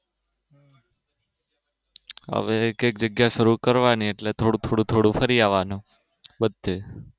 હવે એક જગ્યા જગ્યા શરુ કરવાની એટલે થોડું થોડું ફરી આવાનું બધે